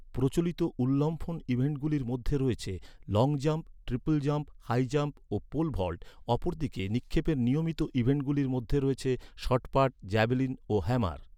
প্রচলিত উল্লম্ফন ইভেন্টগুলির মধ্যে রয়েছে long jump, triple jump, high jump, ও পোল ভল্ট, অপরদিকে নিক্ষেপের নিয়মিত ইভেন্টগুলির মধ্যে রয়েছে শট পাট, জ্যাভেলিন, ও হ্যামার।